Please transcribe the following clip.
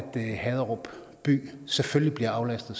haderup by selvfølgelig bliver aflastet